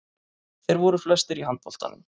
Þeir voru flestir í handboltanum.